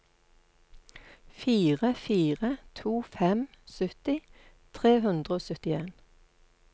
fire fire to fem sytti tre hundre og syttien